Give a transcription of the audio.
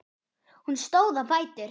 Hún stóð á fætur.